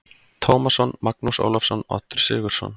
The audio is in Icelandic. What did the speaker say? Tómasson, Magnús Ólafsson, Oddur Sigurðsson